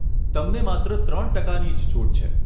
તમને માત્ર ત્રણ ટકાની જ છૂટ છે.